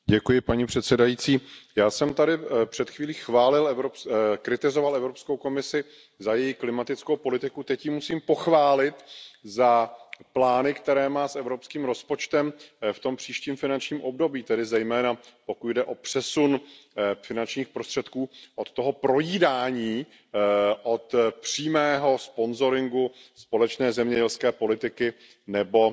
Paní předsedající, já jsem tady před chvílí kritizoval Evropskou komisi za její klimatickou politiku, teď ji musím pochválit za plány, které má s evropským rozpočtem v tom příštím finančním období, tedy zejména, pokud jde o přesun finančních prostředků od toho projídání, od přímého sponzoringu společné zemědělské politiky nebo